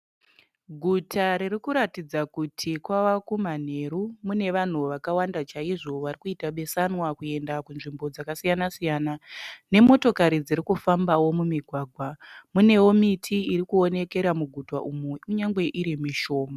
Guta ririkuratidza kuti kwava kumanheru, mune vanhu vakawanda chaizvo varikuita besanwa kuenda kunzvimbo dzakasiyana-siyana, nemotokari dziri kufambawo mumugwagwa. Munewo miti irikuonekera muguta umu kunyange iri mishoma.